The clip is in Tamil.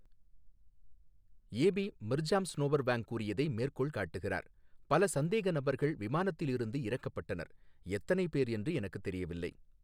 ஏபி, மிர்ஜாம் ஸ்னோவர்வேங் கூறியதை மேற்கோள் காட்டுகிறார் பல சந்தேக நபர்கள் விமானத்தில் இருந்து இறக்கப்பட்டனர் எத்தனை பேர் என்று எனக்குத் தெரியவில்லை.